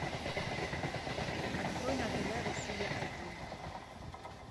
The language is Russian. открой на тв россия один